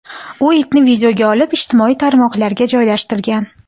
U itni videoga olib, ijtimoiy tarmoqlarga joylashtirgan.